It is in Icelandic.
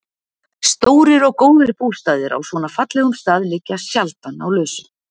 Stórir og góðir bústaðir á svona fallegum stað liggja sjaldan á lausu.